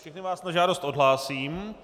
Všechny vás na žádost odhlásím.